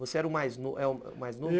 Você era o mais novo?